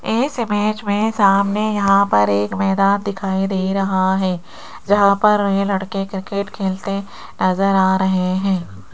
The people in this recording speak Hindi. इस इमेज में सामने यहां पर एक मैदान दिखाई दे रहा है जहां पर ये लड़के क्रिकेट खेलते नजर आ रहे है।